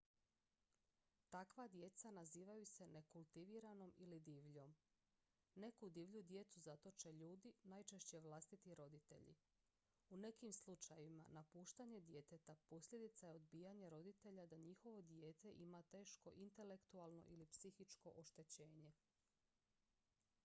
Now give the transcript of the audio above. takva djeca nazivaju se nekultiviranom ili divljom. neku divlju djecu zatoče ljudi najčešće vlastiti roditelji. u nekim slučajevima napuštanje djeteta posljedica je odbijanja roditelja da njihovo dijete ima teško intelektualno ili psihičko oštećenje